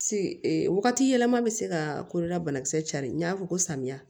Wagati yɛlɛma bɛ se ka kolola banakisɛ cari n y'a fɔ ko samiya